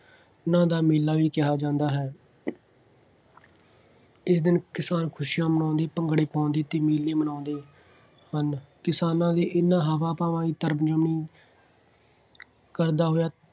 ਦਾ ਮੇਲਾ ਵੀ ਕਿਹਾ ਜਾਂਦਾ ਹੈ। ਇਸ ਦਿਨ ਕਿਸਾਨ ਖੁਸ਼ੀਆਂ ਮਨਾਉਂਦੇ, ਭੰਗੜੇ ਪਾਉਂਦੇ ਅਤੇ ਮੇਲੇ ਮਨਾਉਂਦੇ ਹਨ। ਕਿਸਾਨਾਂ ਦੇ ਇਹਨਾ ਹਾਵਾਂ ਭਾਵਾਂ ਦੀ ਤਰਜਮੀਨੀ ਕਰਦਾ ਹੋਇਆ,